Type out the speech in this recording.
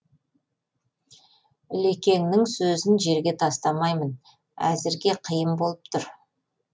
ілекеңнің сөзін жерге тастамаймын әзірге қиын болып тұр